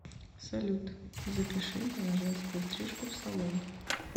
салют запиши меня на женскую стрижку в салон